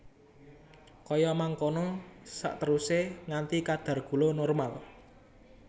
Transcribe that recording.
Kaya mangkono saterusé nganti kadar gula normal